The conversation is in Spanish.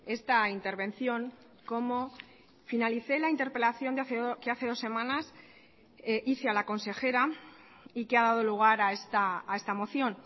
esta intervención como finalicé la interpelación que hace dos semanas hice a la consejera y que ha dado lugar a esta moción